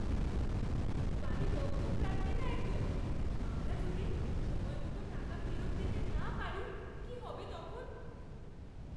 বাড়ি বন্ধক রাখবে না একদম। আমরা যদি সময়মতো টাকা ফেরত দিতে না পারি কী হবে তখন?